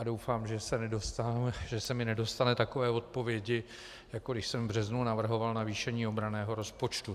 A doufám, že se mi nedostane takové odpovědi, jako když jsem v březnu navrhoval navýšení obranného rozpočtu.